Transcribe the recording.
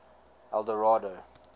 eldorado